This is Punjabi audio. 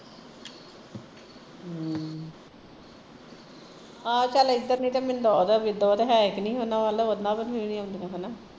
ਹਾਂ ਇੱਧਰ ਨੀ ਤੇ ਮਿੰਦੋ ਓਹ ਹੈ ਕੀ ਨਹੀਂ ਓਹਨਾਂ ਵੱਲ ਓਹਨਾਂ ਵੱਲ ਵੀ ਨੀ ਆਉਂਦੀਆ